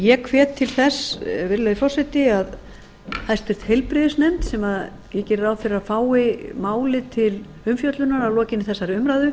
ég hvet til eins virðulegi forseti að háttvirtur heilbrigiðsinefnd sem ég geri ráð fyrir að fái málið til umfjöllunar að lokinni þessari umræðu